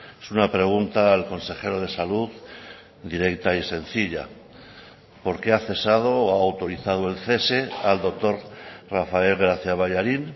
es una pregunta al consejero de salud directa y sencilla por qué ha cesado o ha autorizado el cese al doctor rafael gracia ballarín